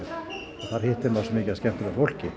og þar hitti maður svo mikið af skemmtilegu fólki